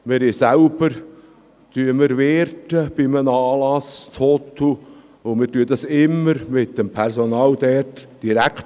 Wir wirten selber bei einem Anlass in Huttwil, und wir verhandeln dies immer direkt mit dem Personal vor Ort.